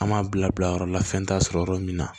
An m'a bila bila yɔrɔ la fɛn t'a sɔrɔ yɔrɔ min na